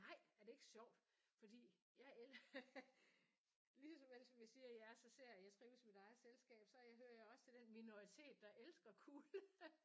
Nej er det ikke sjovt? Fordi jeg elsker lige som jeg siger jeg så sær jeg trives i mit eget selskab så hører jeg også til minoritet der elsker kulde